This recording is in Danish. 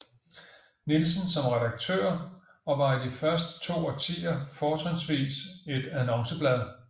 Nielsen som redaktør og var i de første to årtier fortrinvist et annonceblad